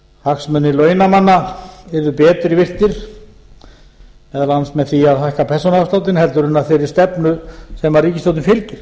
hagsmunir launamanna yrðu betur virtir meðal annars með því að hækka persónuafsláttinn heldur en af þeirri stefnu sem ríkisstjórnin fylgir